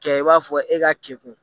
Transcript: Kɛ i b'a fɔ e ka keku